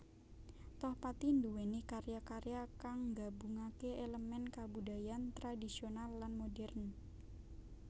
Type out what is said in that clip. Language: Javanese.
Tohpati nduwèni karya karya kang nggabungaké èlemèn kabudayan tradhisional lan modhèrn